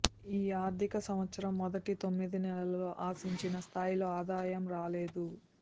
ఈ ఆర్థిక సంవత్సరం మొదటి తొమ్మిది నెలల్లో ఆశించిన స్థాయిలో ఆదాయం రాలేదు